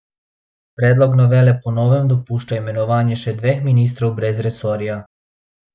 Predlog novele po novem dopušča imenovanje še dveh ministrov brez resorja.